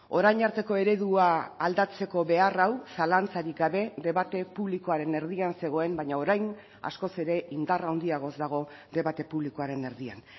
orain arteko eredua aldatzeko behar hau zalantzarik gabe debate publikoaren erdian zegoen baina orain askoz ere indar handiagoz dago debate publikoaren erdian